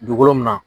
Dugukolo min na